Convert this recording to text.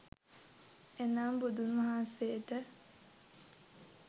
එනම් බුදුන්වහන්සේට